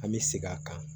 An bɛ segin a kan